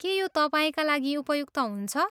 के यो तपाईँका लागि उपयुक्त हुन्छ?